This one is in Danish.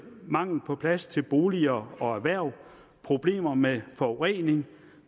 mangel på plads til boliger og erhverv problemer med forurening